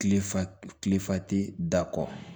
Kile fa kile fa tɛ da kɔ